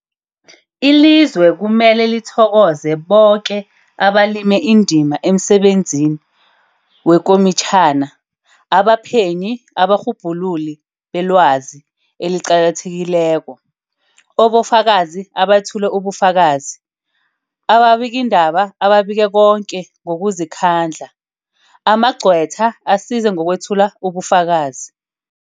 Ilizwe kumele lithokoze boke abalime indima emsebenzini wekomitjhana, abaphenyi, abarhubhululi belwazi eliqakathekileko, obofakazi abethule ubufakazi, ababikiindaba ababike koke ngokuzikhandla, amagcwetha asize ngokwethula ubufakazi.